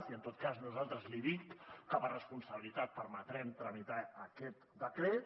i en tot cas nosaltres li dic que per responsabilitat permetrem tramitar aquest decret